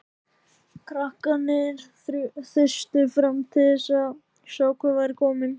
Krakkarnir þustu fram til að sjá hver væri kominn.